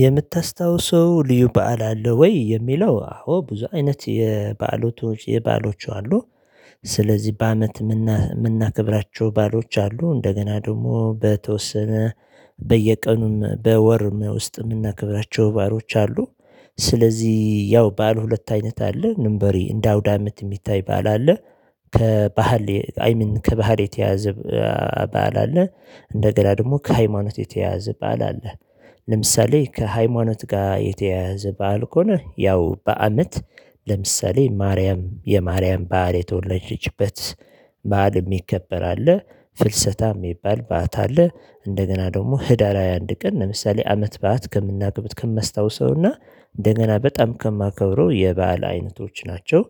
የምታስታውሰው ልዩ በዓል አለ ወይ የሚለው አዎ ብዙ አይነት የበዓሎቹ የበዓሎቹ አሉ። ስለዚህ በአመት የምናከብራቸው ባአሎች አሉ። እንደገና ደግሞ በተወሰነ በየቀኑም በወርም ውስጥም የምናከብራቸው ባዐሎች አሉ። ስለዚህ ያው ባዓል ሁለት አይነት አለ ንበሪ እንደ አውዳምት የሚታይ ባዓል አለ። ከባህል አይ ሚን ከባህል የተያዘ በዓል አለ። እንደገና ደግሞ ከሃይማኖት የተያያዘ በዓል አለ። ለምሳሌ ከሃይማኖት ጋር የተያያዘ በዓል ከሆነ ያው በአመት ለምሳሌ ማርያም የማርያም በዓል የተወለደችበት በዓል የሚከበር አለ። ፍልሰታ የሚባል በዓት አለ። እንደገና ደግሞ ህዳር ሃያ አንድ ቀን ለምሳሌ አመት በዓት። ከማስታውሰውና እንደገና በጣም ከማከብረው የበአል አይነቶች ናቸው።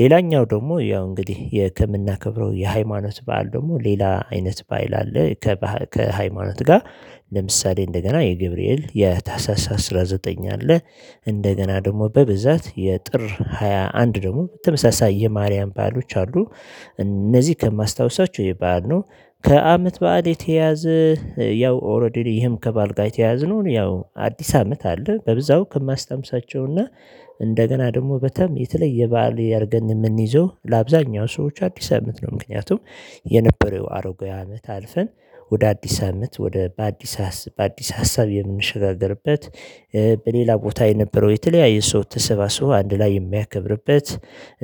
ሌላኛው ደግሞ ያው እንግዲህ የ ከምናከብረው የሃይማኖት በዓል ደግሞ ሌላ አይነት ባዓል አለ። ከሃይማኖት ጋር ለምሳሌ እንደገና የገብርኤል የታህሳሸ አስራ ዘጠኝ አለ። እንደገና ደግሞ በብዛት የጥር ሃያ አንድ ደግሞ ተመሳሳይ የማርያም ባአሎች አሉ። እነዚህ ከማስታውሳቸው ይሄ በዓል ነው። ከአመት በዓል የተየያዘ ያው ኦሬዲ ይሄም ከባአልጋ የተየያዘ ነው ያው አዲስ አመት አለ። በብዛው ከማስታውሳቸውና እንደገና ደግሞ በታም የተለየ በዓል ያርገን የምንይዘው ለአብዛኛው ሰዎች አዲስ አመት ነው። ምክንያቱም የነበረው አሮጌ አመት አልፈን ወደ አዲስ አመት ወደ በአዲስ በአዲስ ሀሳብ የምንሸጋገርበት። በሌላ ቦታ የነበረው የተለያየ ሰው ተሰባስቦ አንድ ላይ የሚያከብርበት።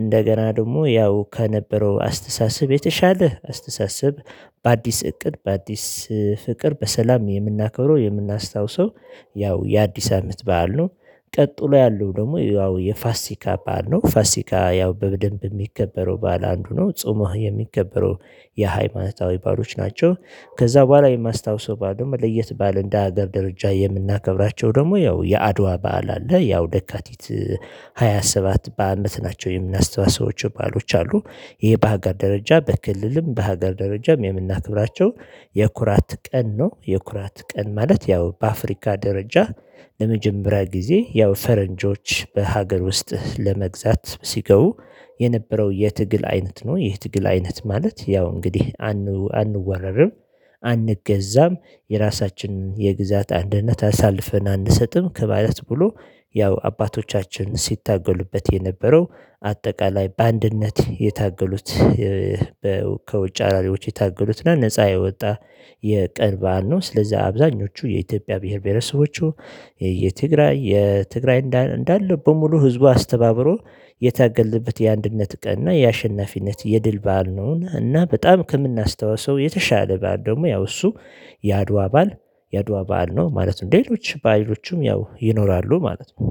እንደገና ደግሞ ያው ከነበረው አስተሳሰብ የተሻለ አስተሳሰብ። በአዲስ እቅድ በአዲስ ፍቅር በሰላም የምናከብረው የምናስታውሰው ያው የአዲስ አመት በዓል ነው። ቀጥሎ ያለው ደግሞ ያው የፋሲካ በዓል ነው ፋሲካ ያው በደንብ የሚከበረው በዓል አንዱ ነው። ፆመህ የሚከበረው የሃይማኖታዊ በዓሎች ናቸው። ከዛ በኋላ የማስታውሰው በዓል ደሞ ለየት ባለ እንደ ሀገር ደረጃ የምናከብራቸው ደግሞ ያው የአድዋ በዓል አለ። ያው የካቲት ሃያ ሰባት በአመት ናቸው የሚናስታውሳቸው በዓሎች አሉ። ይሄ በሀገር ደረጃ በክልልም በሀገር ደረጃም የምናክብራቸው የኩራት ቀን ነው። የኩራት ቀን ማለት ያው በአፍሪካ ደረጃ ለመጀመሪያ ጊዜ ያው ፈረንጆች በሀገር ውስጥ ለመግዛት ሲገቡ የነበረው የትግል አይነት ነው። ይህ ትግል አይነት ማለት ያው እንግዲህ አንወረርም። አንገዛም የራሳችንን የግዛት አንድነት አሳልፈን አንሰጥም ከማለት ብሎ ያው አባቶቻችን ሲታገሉበት የነበረው አጠቃላይ በአንድነት የታገሉት። ከውጭ ወራሪዎች የታገሉት እና ነፃ የወጣ የቀን በዓል ነው። ስለዚህ አብዛኞቹ የኢትዮጵያ ብሄር ብሄረሰቦቹ የትግራይ የትግራይ እንዳለ በሙሉ ህዝቡ አስተባብሮ የታገለበት የአንድነት ቀን እና የአሸናፊነት የድል በዓል ነው። እና በጣም ከምናስተዋስው የተሻለ በዓል ደግሞ ያው እሱ የአድዋ በዓል የአድዋ በዓል ነው ማለት ነው። ሌሎች ባዕሎቹም ያው ይኖራሉ ማለት ነው።